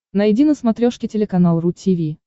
найди на смотрешке телеканал ру ти ви